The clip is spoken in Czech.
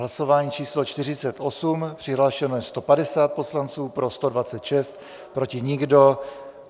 Hlasování číslo 48, přihlášeno je 150 poslanců, pro 126, proti nikdo.